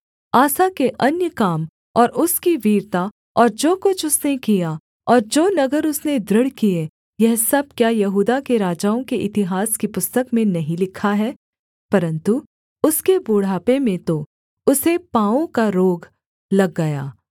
आसा के अन्य काम और उसकी वीरता और जो कुछ उसने किया और जो नगर उसने दृढ़ किए यह सब क्या यहूदा के राजाओं के इतिहास की पुस्तक में नहीं लिखा है परन्तु उसके बुढ़ापे में तो उसे पाँवों का रोग लग गया